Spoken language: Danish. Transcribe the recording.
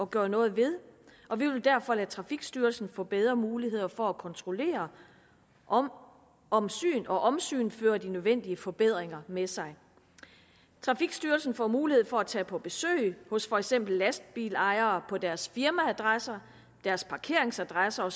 gøre noget ved og vi vil derfor lade trafikstyrelsen få bedre muligheder for at kontrollere om om syn og omsyn fører de nødvendige forbedringer med sig trafikstyrelsen får mulighed for at tage på besøg hos for eksempel lastbilejere på deres firmaadresser parkeringsadresser